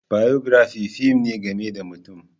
Biography fim ne game da mutum.